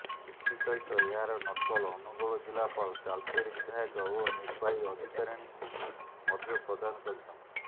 ଏଥିସହିତ ଏହାର ନକଲ ଅନୁଗୋଳ ଜିଲ୍ଲାପାଳ ତାଳଚେର ବିଧାୟକ ଓ ନିର୍ବାହୀ ଅଧିକାରୀଣୀଙ୍କୁ ମଧ୍ୟ ପ୍ରଦାନ କରିଛନ୍ତି